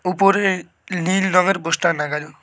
উপরে নীল রঙের পোস্টার লাগানো।